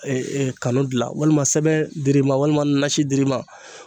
kanu dilan walima sɛbɛn dir'i ma walima nasi dir'i ma